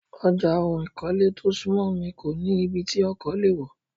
Ọjà ohun ìkọ́lé tó súnmọ́ mi kó nì ibí tí ọkọ̀ lè wọ̀.